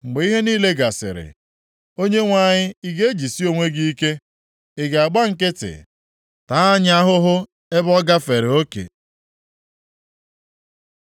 Mgbe ihe niile gasịrị, Onyenwe anyị, ị ga-ejisi onwe gị ike? Ị ga-agba nkịtị, taa anyị ahụhụ ebe ọ gafere oke?